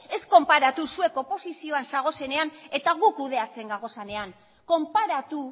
ez konparatu zuek oposizioan zaudetenean eta gu kudeatzen gaudenean konparatu